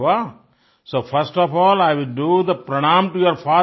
अरे वाह so first of all I will do the प्रणाम टो यूर